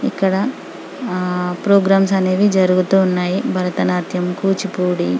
ఇక్కడ ఆహ్ ప్రోగ్రామ్స్ అనివే జరుగు తున్నాయి భరతనాట్యం కూచిపూడి --